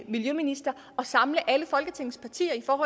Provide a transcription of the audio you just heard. miljøminister at samle alle folketingets partier om